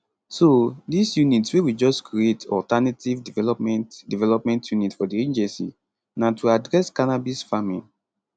so dis unit wey we just create alternative development development unit for di agency na to address cannabis farming